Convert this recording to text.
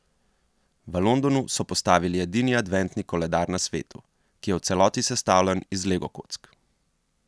V Londonu so postavili edini adventni koledar na svetu, ki je v celoti sestavljen iz legokock.